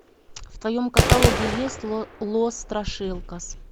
в твоем каталоге есть лос страшилкас